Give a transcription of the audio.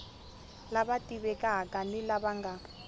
lava tivekaka ni lava nga